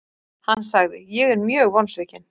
Hann sagði:, Ég er mjög vonsvikinn.